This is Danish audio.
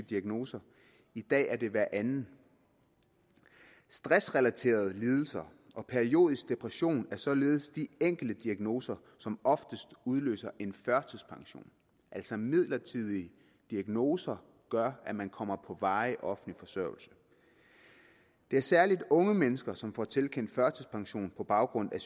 diagnose i dag er det hver anden stressrelaterede lidelser og periodiske depressioner er således de enkeltdiagnoser som oftest udløser en førtidspension altså midlertidige diagnoser gør at man kommer på varig offentlig forsørgelse det er særlig unge mennesker som får tilkendt en førtidspension på baggrund af